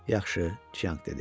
Yaxşı, Çianq dedi.